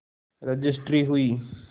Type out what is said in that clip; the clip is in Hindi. रजिस्ट्री हुई